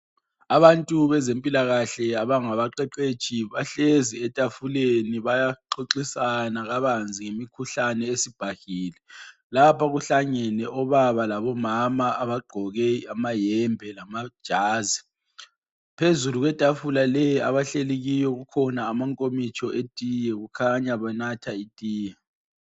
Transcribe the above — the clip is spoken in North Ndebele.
Abantu bezempilakahle abangabaqeqetshi bahlezi etafuleni bayaxoxisana kabanzi ngemikhuhlane esibhahile. Lapha kuhlangene obaba labomama abagqoke amayembe lamajazi. Phezulu kwetafula leyi abahlezi kiyo kukhona amankomitsho etiye kukhanya banatha itiye.